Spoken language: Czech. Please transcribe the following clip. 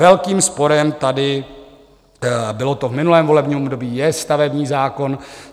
Velkým sporem tady, bylo to v minulém volebním období, je stavební zákon.